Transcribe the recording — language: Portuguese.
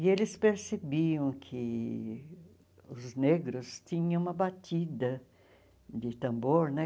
E eles percebiam que os negros tinham uma batida de tambor, né?